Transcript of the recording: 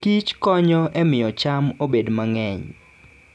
kich konyo e miyo cham obed mang'eny.